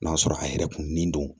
N'a sɔrɔ a yɛrɛ kun nen don